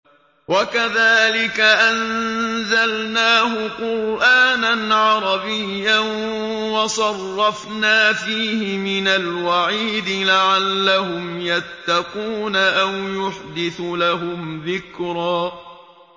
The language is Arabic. وَكَذَٰلِكَ أَنزَلْنَاهُ قُرْآنًا عَرَبِيًّا وَصَرَّفْنَا فِيهِ مِنَ الْوَعِيدِ لَعَلَّهُمْ يَتَّقُونَ أَوْ يُحْدِثُ لَهُمْ ذِكْرًا